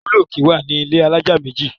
Ibùlọ òkè wá ní ilé alájà méjì